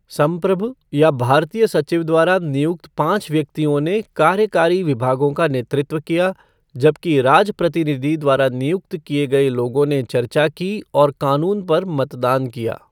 संप्रभु या भारतीय सचिव द्वारा नियुक्त पांच व्यक्तियों ने कार्यकारी विभागों का नेतृत्व किया, जबकि राजप्रतिनिधि द्वारा नियुक्त किए गए लोगों ने चर्चा की और कानून पर मतदान किया।